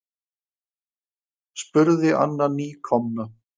spurði Anna nýkomna.